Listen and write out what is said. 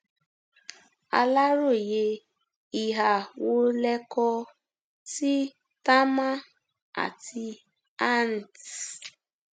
aláròye ìhà wo lẹ kọ sí támán àti ant